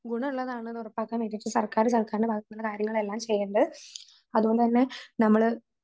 ഗുണവുള്ളതാണെന്നുറപ്പാക്കാൻ വേണ്ടീട്ട് സര്ക്കാര് സർക്കാരിന്റെ ഭാഗത്തുനിന്ന് കാര്യങ്ങളെല്ലാം ചെയ്യേണ്ടത്. അതുപോലെതന്നെ നമ്മള്